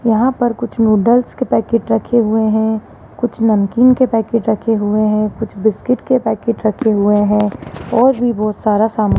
यहां पर कुछ नूडल्स के पैकेट रखे हैं कुछ नमकीन के पैकेट रखे हुए है कुछ बिस्किट के पैकेट रखे हुए है और भी बहोत सारा सामान --